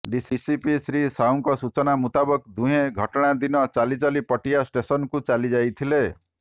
DCP Shri ସାହୁଙ୍କ ସୂଚନା ମୁତାବକ ଦୁହେଁ ଘଟଣା ଦିନ ଚାଲି ଚାଲି ପଟିଆ ଷ୍ଟେସନ୍କୁ ଚାଲି ଯାଇଥିଲେ